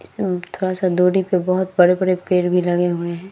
इस थोड़ा सा दुरी पर बहुत से पेड़ भी लगे हुए है ।